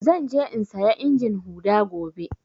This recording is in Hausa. Zan je in saya injin huɗa gobe.